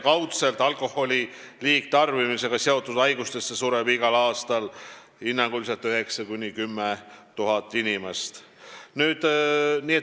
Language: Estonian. Kaudselt sureb alkoholi liigtarbimisega seotud haigustesse igal aastal hinnanguliselt 9000 – 10 000 inimest.